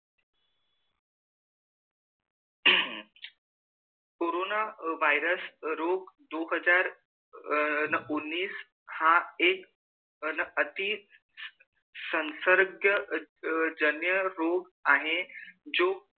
corona virus रूप दो हजार उन्नीस हा एक अन आती संसर्गीय जन रूप आहे